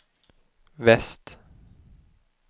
väst